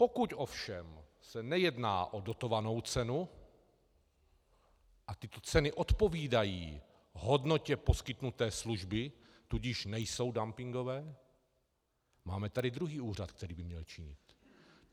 Pokud ovšem se nejedná o dotovanou cenu a tyto ceny odpovídají hodnotě poskytnuté služby, tudíž nejsou dumpingové, máme tady druhý úřad, který by měl činit.